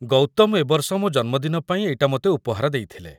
ଗୌତମ ଏ ବର୍ଷ ମୋ ଜନ୍ମଦିନ ପାଇଁ ଏଇଟା ମୋତେ ଉପହାର ଦେଇଥିଲେ ।